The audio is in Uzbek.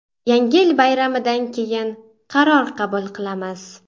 Yangi yil bayramidan keyin qaror qabul qilamiz”.